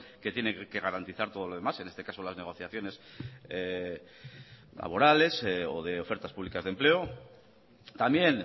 que tiene que garantizar todo lo demás en este caso las negociaciones laborales o de ofertas públicas de empleo también